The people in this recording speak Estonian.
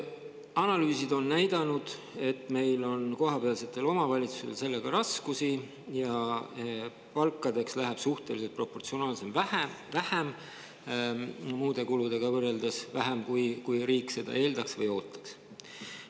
Analüüsid on näidanud, et kohalikel omavalitsustel on sellega raskusi ja palkadeks läheb proportsionaalselt vähem, muude kuludega võrreldes vähem, kui riik seda eeldaks või ootaks.